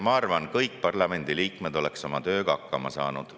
Ma arvan, et kõik parlamendiliikmed oleks oma tööga hakkama saanud.